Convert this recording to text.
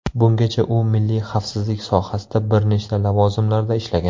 Bungacha u milliy xavfsizlik sohasida bir nechta lavozimlarda ishlagan.